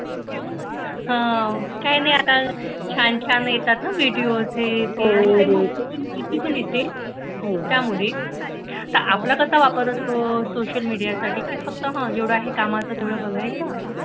हं काही नाही आता छान छान येतात ना व्हिडीयोज हे ते त्यामुळे तर आपला कसा वापर असतो सोशल मिडीया की हं फक्त एवढ आहे कामाच तेवढ बघायच